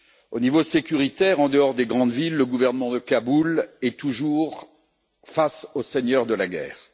Au niveau sécuritaire, en dehors des grandes villes, le gouvernement de Kaboul est toujours face aux seigneurs de la guerre.